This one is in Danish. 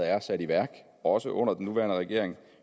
er sat i værk også under den nuværende regering